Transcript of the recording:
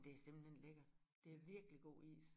Det simpelthen lækkert det virkelig god is